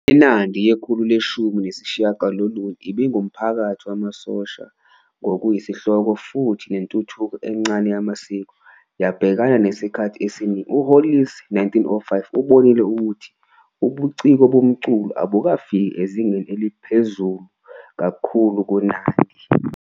INandi yekhulu leshumi nesishiyagalolunye ibingumphakathi wamasosha ngokuyinhloko futhi nentuthuko encane yamasiko yabhekana nesikhathi esiningi. U-Hollis, 1905, ubonile ukuthi "ubuciko bomculo abukafiki ezingeni eliphezulu kakhulu kuNandi".